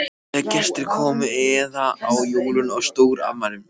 Þegar gestir komu eða á jólum og stórafmælum.